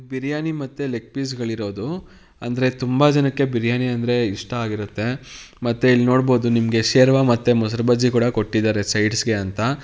ಬಿರಿಯಾನಿ ಮತ್ತೆ leg piece ಗಳು ಇರೋದು ಅಂದ್ರೆ ತುಂಬಾ ಜನಕ್ಕೆ ಬಿರಿಯಾನಿ ಅಂದ್ರೆ ಇಷ್ಟ ಆಗಿರುತ್ತೆ ಮತ್ತೆ ಇಲ್ಲಿ ನೀವು ನೋಡಬಹುದು ಸೆರ್ವ ಮತ್ತೆ ಮೊಸರು ಬಜ್ಜಿ ಕೊಟ್ಟಿದ್ದಾರೆ ಸೈಡ್ಸ್ಗೆಗೆ ಅಂತ.